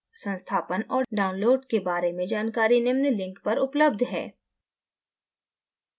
संस्थापन और download के बारे में जानकारी निम्न link पर उपलब्ध है